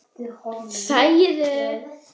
Nákvæmlega hvaða eyja þetta var er ekki vitað.